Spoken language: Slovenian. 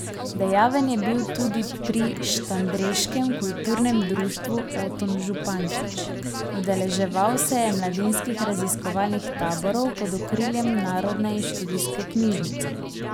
Dejaven je bil tudi pri štandreškem kulturnem društvu Oton Župančič, udeleževal se je mladinskih raziskovalnih taborov pod okriljem Narodne in študijske knjižnice.